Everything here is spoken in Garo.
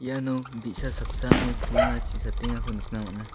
iano bi·sa saksani pulna chi satengako nikna man·a.